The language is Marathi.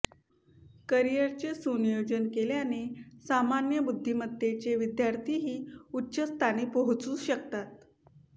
करीयरचे सुनियोजन केल्याने सामान्य बुद्धिमत्तेचे विद्यार्थीही उच्च स्थानी पोहचू शकतात